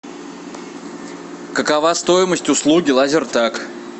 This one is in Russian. какова стоимость услуги лазертаг